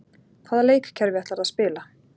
Hvaða leikkerfi ætlarðu að spila?